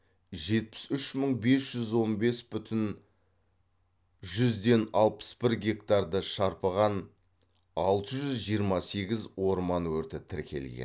жетпіс үш мың бес жүз он бес бүтін жүзден алпыс бір гектарды шарпыған алты жүз жиырма сегіз орман өрті тіркелген